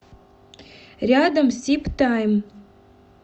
рядом сибтайм